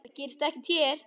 Það gerist ekki hér.